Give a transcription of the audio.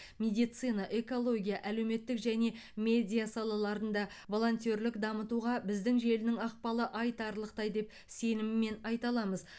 медицина экология әлеуметтік және медиа салаларында волонтерлік дамытуға біздің желінің ықпалы айтарлықтай деп сеніммен айта аламыз